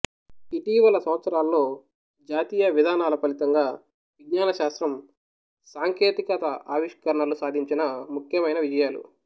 ఇటీవలి సంవత్సరాల్లో జాతీయ విధానాల ఫలితంగా విజ్ఞానశాస్త్రం సాంకేతికత ఆవిష్కరణలు సాధించిన ముఖ్యమైన విజయాలు